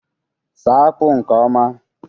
saa akpu nke oma